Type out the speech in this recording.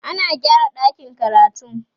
ana gyara ɗakin karatun